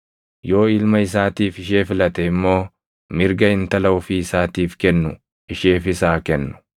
Yoo ilma isaatiif ishee filate immoo mirga intala ofii isaatiif kennu isheefis haa kennu.